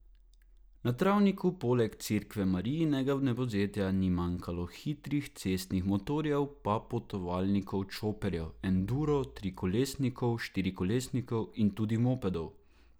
Na travniku poleg cerkve Marijinega vnebovzetja ni manjkalo hitrih cestnih motorjev pa potovalnikov, čoperjev, endur, trikolesnikov, štirikolesnikov in tudi mopedov.